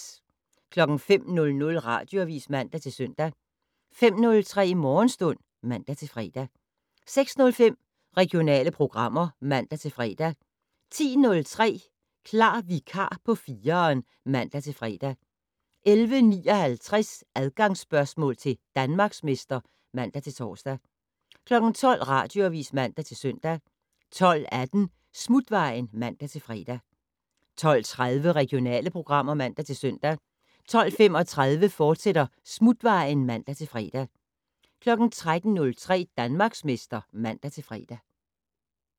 05:00: Radioavis (man-søn) 05:03: Morgenstund (man-fre) 06:05: Regionale programmer (man-fre) 10:03: Klar vikar på 4'eren (man-fre) 11:59: Adgangsspørgsmål til Danmarksmester (man-tor) 12:00: Radioavis (man-søn) 12:18: Smutvejen (man-fre) 12:30: Regionale programmer (man-søn) 12:35: Smutvejen, fortsat (man-fre) 13:03: Danmarksmester (man-fre)